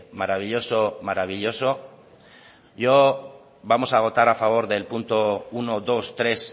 maravilloso maravilloso yo vamos a votar a favor del punto uno dos tres